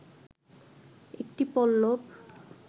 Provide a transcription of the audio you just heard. একটি পল্লব